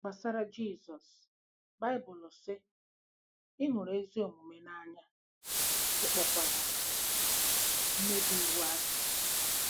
Gbasara Jizọs Baịbụlụ sị: “ Ị hụrụ ezi omume n'anya, ị kpọkwara mmebi iwu asị.